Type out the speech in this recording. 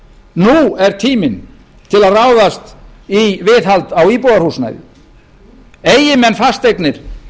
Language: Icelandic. nú er tíminn til að ráðast í viðhald á íbúðarhúsnæði eigi menn fasteignir